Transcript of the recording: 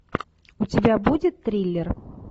у тебя будет триллер